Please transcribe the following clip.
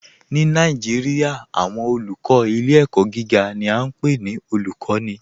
Ni Naijiria, awọn olùkọ ilẹ̀-ẹ̀kọ̀ giga ni a npe ni olùkọni